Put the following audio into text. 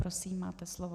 Prosím, máte slovo.